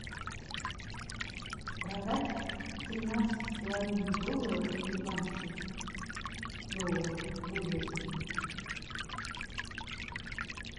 продать тринадцать с половиной долларов американских долларов выгодно